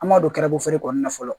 An m'a don garaba feere kɔnɔna na fɔlɔ